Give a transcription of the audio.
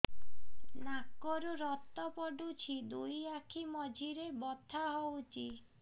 ନାକରୁ ରକ୍ତ ପଡୁଛି ଦୁଇ ଆଖି ମଝିରେ ବଥା ହଉଚି